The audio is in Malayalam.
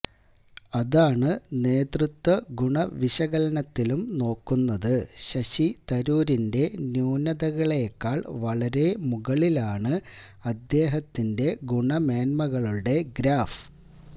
അതാണ് നേതൃത്വ ഗുണ വിശകലനത്തിലും നോക്കുന്നത് ശശി തരൂരിന്റ ന്യൂനതകളെക്കാൾ വളരെ മുകളിലാണ് അദ്ദേഹത്തിന്റെ ഗുണമെന്മകളുടെ ഗ്രാഫ്